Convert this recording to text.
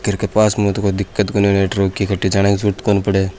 घर के पास मे तो कोई दिकत --